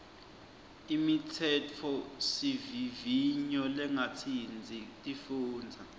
imitsetfosivivinyo lengatsintsi tifundza